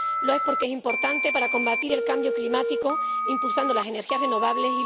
lo es porque es importante para combatir el cambio climático impulsando las energías renovables